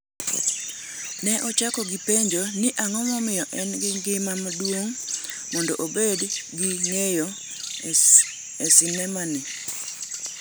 Ne ochako gi penjo ni ang’o momiyo en gima duong’ mondo obed gi ng’iyo e sinema ni?